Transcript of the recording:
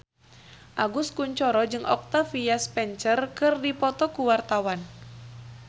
Agus Kuncoro jeung Octavia Spencer keur dipoto ku wartawan